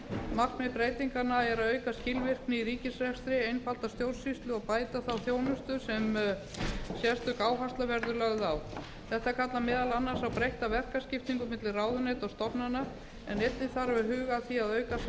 markmið breytinganna er að auka skilvirkni í ríkisrekstri einfalda stjórnsýslu og bæta þá þjónustu sem sérstök áhersla verður lögð á þetta kallar meðal annars á breytta verkaskiptingu milli ráðuneyta og stofnana en einnig þarf að huga að því að auka samstarf